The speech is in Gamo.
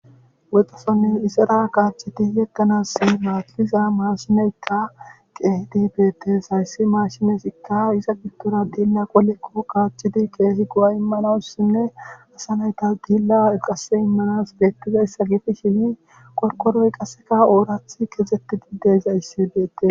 woxxosonni isara kaachiti yettanassi maathiza maashimeyta qeehi di beetes hayssi maashimezikka iza gittora diilla qolekko qaachchidi keehi go7a immanawussinne asanayta diilla eqase immanas beettizayssa gifi shini qorkoroy qasseka oorath kexetti diddeyza issi beette